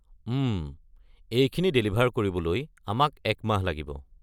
উম, এইখিনি ডেলিভাৰ কৰিবলৈ আমাক এক মাহ লাগিব।